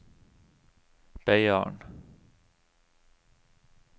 Beiarn